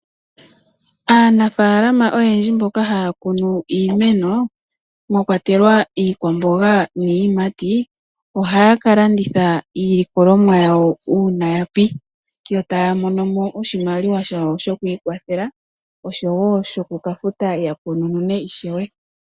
Aanafaalama oyendji mboka haya kunu iimeno mwa kwatelwa iikwamboga niiyimati, ohaya ka landitha iilikolomwa yawo uuna ya pi , yo taya mono mo oshimaliwa shawo shoku ikwathela, oshowo shoku ka futa ya kununune ishewe.